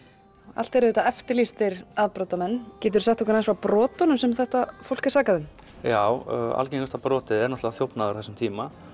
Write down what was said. allt eru þetta eftirlýstir afbrotamenn geturðu sagt mér aðeins frá brotunum sem þetta fólk er sakað um já algengasta brotið er náttúrulega þjófnaður á þessum tíma